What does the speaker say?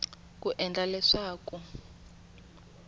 ku endla leswaku hiv na